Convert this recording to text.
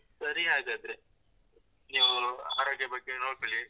ಸರಿ ಹಾಗಾದ್ರೆ ನೀವು ಆರೋಗ್ಯ ಬಗ್ಗೆ ನೋಡ್ಕೊಳಿ.